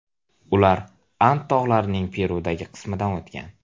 Ular And tog‘larining Perudagi qismidan o‘tgan.